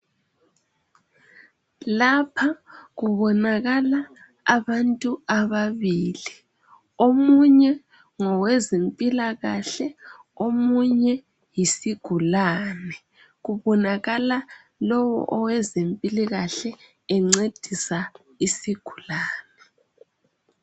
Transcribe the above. Lapha kubonakala abantu ababili. Omunye ngowezimpilakahle, omunye yisigulane. Kubonakala lowo owezimpilikahle encedisa isigulane.